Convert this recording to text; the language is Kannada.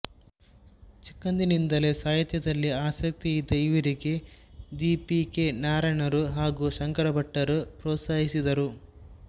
ಚಿಕ್ಕಂದಿನಿಂದಲೇ ಸಾಹಿತ್ಯದಲ್ಲಿ ಆಸಕ್ತಿ ಇದ್ದ ಇವರಿಗೆ ದಿ ಪಿ ಕೆ ನಾರಾಯಣರು ಹಾಗು ಶಂಕರ ಭಟ್ಟರು ಪ್ರೊತ್ಸಾಹಿಸಿದರು